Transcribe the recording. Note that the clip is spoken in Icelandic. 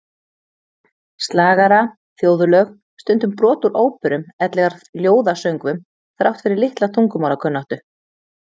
Slagara, þjóðlög, stundum brot úr óperum ellegar ljóðasöngvum, þrátt fyrir litla tungumálakunnáttu.